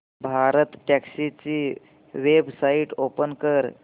भारतटॅक्सी ची website open कर